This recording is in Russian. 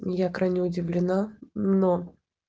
я крайне удивлена но